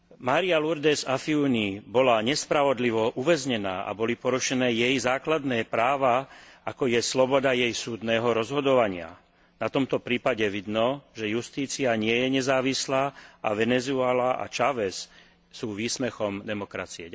Maria Lourdes Afiuni bola nespravodlivo uväznená a boli porušené jej základné práva, ako je sloboda jej súdneho rozhodovania. Na tomto prípade vidno, že justícia nie je nezávislá a Venezuela a Chávez sú výsmechom demokracie.